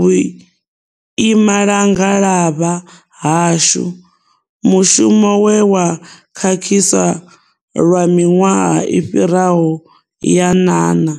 vhuimangalavha hashu, mushumo we wa khakhiswa lwa miṅwaha i fhiraho ya ṅana.